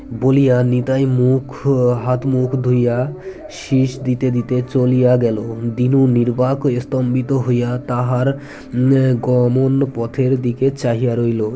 বলিয়া নিতাইয়ের মুখ হাতমুখ ধুইয়া শীস দিতে দিতে চলিয়া গেল দীনু নির্বাক হয়ে স্তম্ভিত হইয়া তাহার আআ গমন পথের দিকে চাহিয়া রইলো